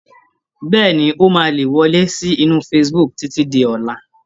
Bẹ́ẹ̀ni, ó máa le wọlé sí inú facebook títí di ọ̀la